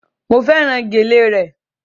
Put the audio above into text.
Mo fẹ́ràn gèlè re